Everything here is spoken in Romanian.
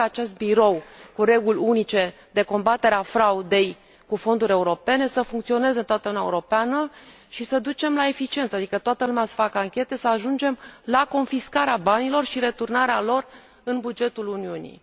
sper ca acest birou cu reguli unice de combatere a fraudei cu fonduri europene să funcționeze în toată Uniunea Europeană și să ducă la eficiență, adică toată lumea să facă anchete, să ajungem la confiscarea banilor și returnarea lor la bugetul Uniunii.